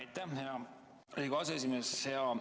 Aitäh, hea Riigikogu aseesimees!